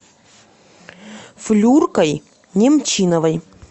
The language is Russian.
флюркой немчиновой